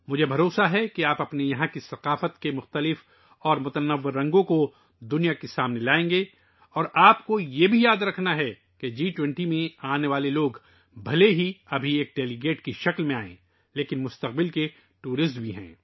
مجھے یقین ہے کہ آپ اپنی ثقافت کے متنوع اور مخصوص رنگوں کو دنیا کے سامنے پیش کریں گے اور آپ کو یہ بھی یاد رکھنا ہوگا کہ جی 20 میں آنے والے لوگ، چاہے وہ اب بطور مندوبین ہی کیوں نہ آئیں، مستقبل کے سیاح ہیں